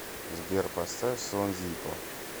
сбер поставь сон зиппо